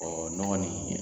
Ɔ nɔgɔ nin